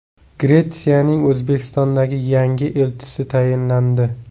Gretsiyaning O‘zbekistondagi yangi elchisi tayinlandi.